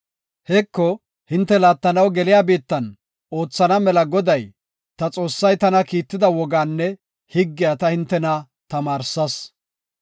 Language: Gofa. Heko, hinte laattanaw geliya biittan oothana mela Goday, ta Xoossay tana kiitida wogaanne higgiya ta hintena tamaarsas.